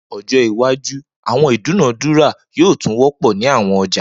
Ni ojo iwaju awọn idunadura yoo tun jẹ wọpọ ni awọn ọja